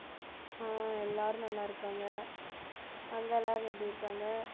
ஆஹ் எல்லாரும் நல்லா இருக்காங்க அங்க எல்லாரும் எப்படி இருக்காங்க